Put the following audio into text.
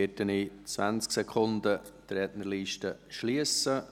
Ich werde die Rednerliste in 20 Sekunden schliessen.